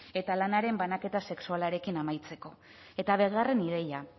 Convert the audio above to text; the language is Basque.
eta lanaren banaketa sexualarekin amaitzeko eta bigarren ideia